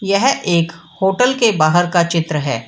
यह एक होटल के बाहर का चित्र है।